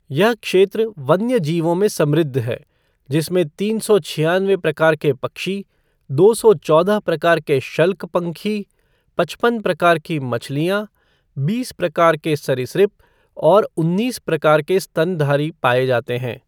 यह क्षेत्र वन्यजीवों में समृद्ध है, जिसमें तीन सौ छियानवे प्रकार के पक्षी, दो सौ चौदह प्रकार के शल्कपंखी, पचपन प्रकार की मछलियाँ, बीस प्रकार के सरीसृप और उन्नीस प्रकार के स्तनधारी पाए जाते हैं।